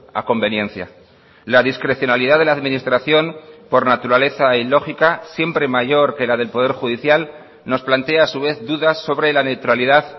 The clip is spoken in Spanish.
a conveniencia la discrecionalidad de la administración por naturaleza y lógica siempre mayor que la del poder judicial nos plantea a su vez dudas sobre la neutralidad